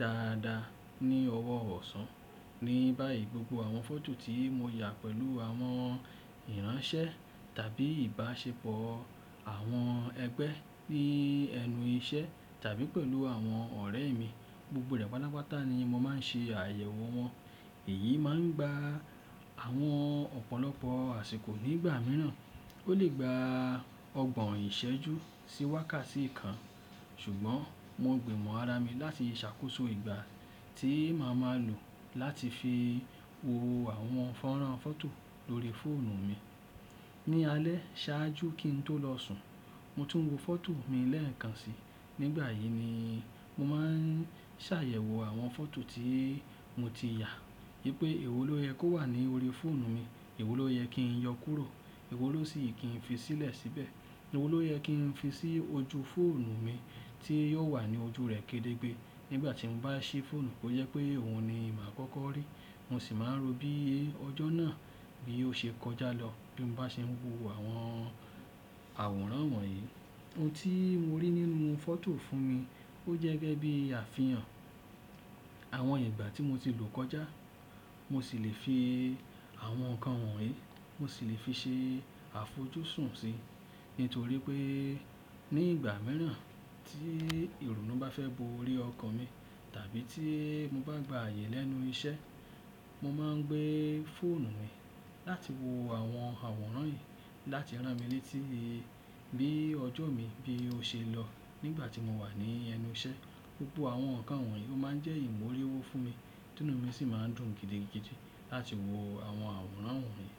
dáadáa ní ọwọ́ ọ̀sán. Ni báyìí, gbogbo àwọn fọ́tò tí mo yà pẹ̀lú àwọn ìránṣẹ́ tàbí ìbáṣepọ̀ àwọn ẹgbẹ́ ni ẹnu iṣẹ́ tàbí pẹ̀lú àwọn ọ̀rẹ́ mi, gbogbo rẹ̀ patápatá ni mo máa ń ṣe àyẹ̀wò wọn. Èyí máa ń gba àwọn ọ̀pọ̀lọpọ̀ àsìkò nígbà mìíràn. Ó lè gba ọgbọ̀n ìṣẹ́jú sí wákàtí kan, ṣùgbọ́n mo gbìmọ̀ ara mi láti ṣàkóso ìgbà tí màá máa lò láti fi wo àwọn fọ́nrán fọ́tò lórí fóònù mi. Ni alẹ́ ṣáájú kí n tó lọ sùn, mo tún wo fọ́tò mi lẹ́ẹ̀kan si. Nígbà yìí ni mo máa ń ṣàyẹ̀wò àwọn fọ́tò tí mo ti yà yí pé èwò ló yẹ kó wà ní orí fóònù mi, èwò ló yẹ kí n yọ kúrò, èwò ló sì kí n fi sílẹ̀ síbẹ̀, èwò ló yẹ kí n fi sí ojú fóònù mi tí yóò wà ní ojú rẹ̀ kedegbe nígbà tí n bá ṣí fóònù kó jẹ pé òun ni màá kọ́kọ́ rí. Mo sì máa ń rò bí ọjọ́ náà bí ó ṣe kọjá lọ bí n bá ṣe ń wo àwọn àwòrán wọ̀nyí. Ohun tí mo rí nínú fọ́tò fún mi ó jẹ́ gẹ́gẹ́ bí àfihàn àwọn ìgbà tí mo ti lò kọjá. Mo sì lè fi àwọn nǹkan wọ̀nyí, mo sì lè fi ṣe àfojúsùn sí, nítorí pé ní ìgbà mìíràn tí ìrònú bá fẹ́ bo orí ọkàn mi tàbí tí mo bá gba ààyè lẹ́nu iṣẹ́, mo máa ń gbé fóònù mi láti wo àwọn àwòrán yìí láti rán mi létí bí ọjọ́ mi bí ó ṣe lọ nígbà tí mo wà ní ẹnu iṣẹ́. Gbogbo àwọn nǹkan wọ̀nyí ó máa ń jẹ́ ìmóríwu fún mi, tún inú mi sì máa ń dùn gidigidi láti wo àwọn àwòrán wọ̀nyí.